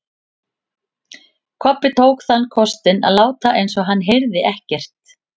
Kobbi tók þann kostinn að láta eins og hann heyrði ekkert.